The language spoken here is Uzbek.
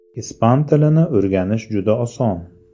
Ispan tilini o‘rganish juda oson.